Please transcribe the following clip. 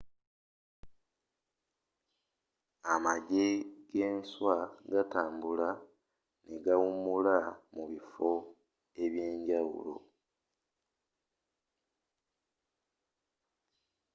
amagye g’enswa gatambula ne gawumula mu bifo byenjawulo